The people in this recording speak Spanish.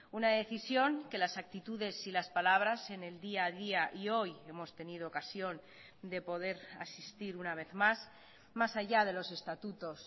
una decisión que las actitudes y las palabras en el día a día y hoy hemos tenido ocasión de poder asistir una vez más más allá de los estatutos